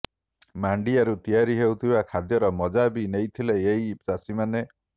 ମାଣ୍ଡିଆରୁ ତିଆରି ହେଉଥିବା ଖାଦ୍ୟର ମଜା ବି ନେଈଥିଲେ ଏହି ଚାଷୀମାନେ